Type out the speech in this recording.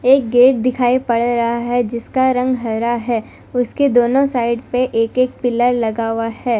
एक गेट दिखाई पड़ रहा है जिसका रंग हरा है उनके दोनों साइड पे एक एक पिलर लगा हुआ है।